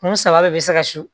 Kun saba bɛɛ bɛ se ka su